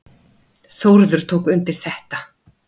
Þórður tók undir þetta.